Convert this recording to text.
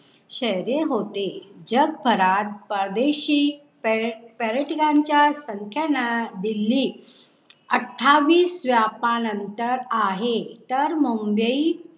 शेरे होते जब फराद परदेशी पर्यटकांच्या संख्येनं दिल्ली अठ्ठावीस व्यापानंतर आहे. तर मुंबई